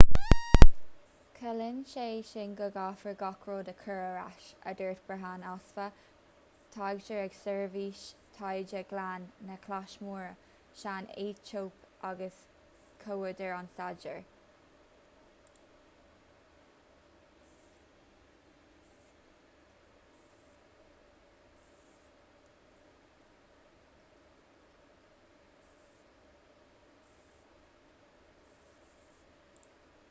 ciallaíonn sé sin go gcaithfear gach rud a chur ar ais a dúirt berhane asfaw taighdeoir ag seirbhís taighde ghleann na claise móire san aetóip agus comhúdar an staidéir